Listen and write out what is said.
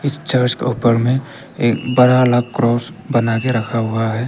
Church के ऊपर में एक बड़ा वाला क्रॉस बना के रखा हुआ है।